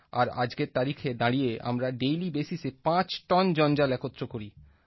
আর আজকের তারিখে দাঁড়িয়ে আমরা ডেইলি বেসিসে পাঁচ টন জঞ্জাল একত্র করি